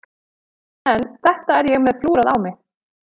En þetta er ég með flúrað á mig.